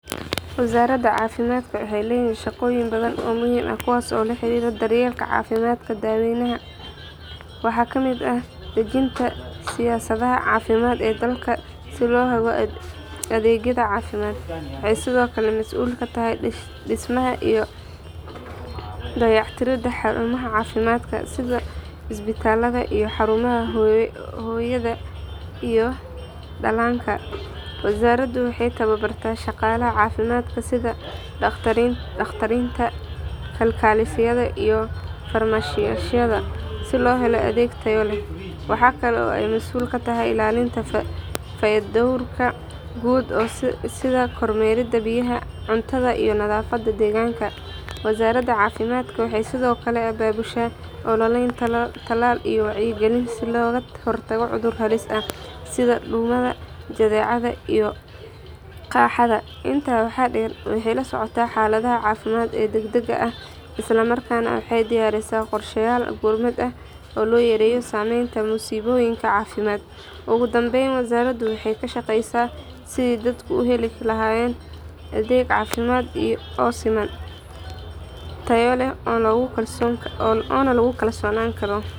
Wazarada cafimadka waxey leyihin shaqoyin badhan oo muhim ahh kuwas oo laherira daryelka cafimadka daweynaha, waxa kamid ahh dejinta siyasadhaha cafimad ee dalka si lohelo adhegyadha cafimad, waxey sidhokale masul katahay dismaha iyo dayactirada harumaha cafimadka sidha isbitaladha iyo xarumaha hoyadha iyo dalanka, wazarada waxey tawabarta shaqalaha cafimadka sidha daqtarinta, kalkalisadha iyo farmeshiyadha si lohelo adheg taya leh, waxa kala oo eyy masul katahay ilalinta feydorka guud sidha kormerida biyaha cuntadha iyo nadhafada deganka, wazarada cafimadka waxa sidokle ababusha ololeyn talal iyo wacyi galin si loga hortago cudhur halis ahh, sidha dubaha jadhecadha iyo qahadha inta waxa der waxey lasocota xaladhaha cafimad ee dagdaga ahh islamarkasna waxey diyarisa qorshayal gurmad ahh oo loyareyo sameynta musiboyinka cafimad, ugudanbeyn wazarada waxey kashaqeysa sidhey dadka uheli lahayen adheg cafimad oo siman, tayo leh ona lagukalsonani karo.